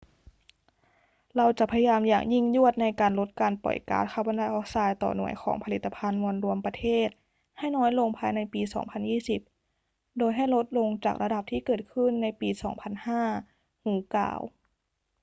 เราจะพยายามอย่างยิ่งยวดในการลดการปล่อยก๊าซคาร์บอนไดออกไซด์ต่อหน่วยของผลิตภัณฑ์มวลรวมประเทศให้น้อยลงภายในปี 2020 โดยให้ลดลงจากระดับที่เกิดขึ้นในปี 2005 hu กล่าว